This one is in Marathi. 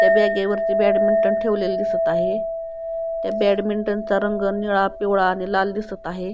त्या ब्यागेवरती ब्याडमिंटन ठेवलेले दिसत आहे त्या ब्याड मिंटनचा रंग निळा पिवळा आणि लाल दिसत आहे.